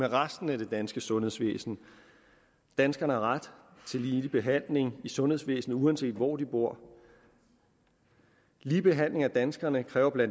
resten af det danske sundhedsvæsen danskerne har ret til ligelig behandling i sundhedsvæsenet uanset hvor de bor ligelig behandling af danskerne kræver bla